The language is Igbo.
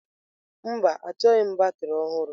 Mba, achọghị m batrị ọhụrụ.